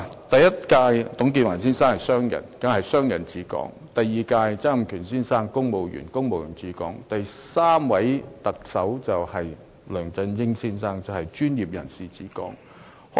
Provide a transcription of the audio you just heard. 第一位特首董建華先生是商人，所以是商人治港；第二位特首曾蔭權先生是公務員，所以是公務員治港；到了第三位特首梁振英先生，便是專業人士治港。